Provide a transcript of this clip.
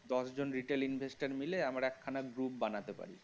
দশ জন retail investor মিলে আমরা একখানা group বানাতে পারি